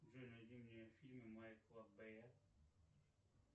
джой найди мне фильмы майкла бе